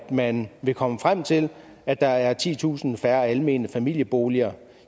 man vil komme frem til at der er titusind færre almene familieboliger